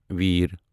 وٕیر